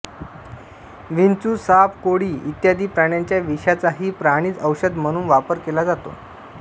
विंचू साप कोळी इ प्राण्यांच्या विषांचाही प्राणिज औषध म्हणून वापर केला जातो